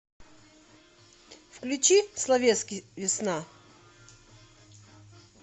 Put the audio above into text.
включи словетский весна